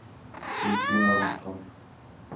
включи на русском